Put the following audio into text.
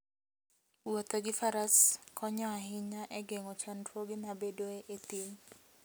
Wuotho gi faras konyo ahinya e geng'o chandruoge mabedoe e thim.